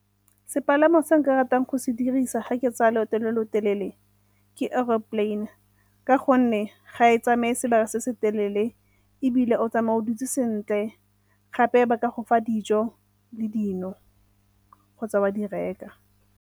Sepalamo se nka ratang go se dirisa ga ke tsaya loeto lo lo telele ke aeroplane ka gonne ga e tsamaye sebaka se se telele ebile o tsamaya o dutse sentle gape ba ka go fa dijo le dino kgotsa wa di reka.